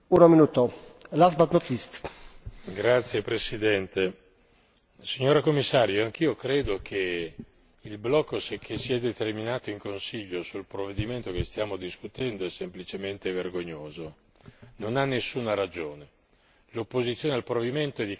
Signor Presidente, onorevoli colleghi, signora Commissario, anch'io credo che il blocco che si è determinato in Consiglio sul provvedimento che stiamo discutendo è semplicemente vergognoso, non ha nessuna ragione. L'opposizione al provvedimento è di carattere puramente ideologico,